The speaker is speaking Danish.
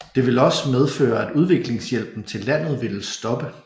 Det ville også medføre at udviklingshjælpen til landet ville stoppe